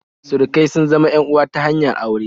Surukai sun zama en uwa ta hanyar aure